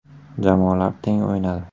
Jamoalar teng o‘ynadi.